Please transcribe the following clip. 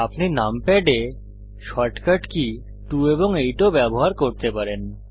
আপনি নামপ্যাড এ shortcut key 2 এবং 8 ও ব্যবহার করতে পারেন